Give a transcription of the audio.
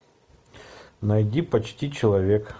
найди почти человек